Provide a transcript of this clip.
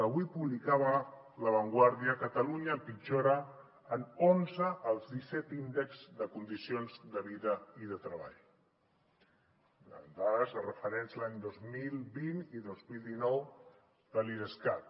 avui publicava la vanguardia catalunya empitjora en onze els disset índexs de condicions de vida i de treball amb dades de referents l’any dos mil vint i dos mil dinou de l’idescat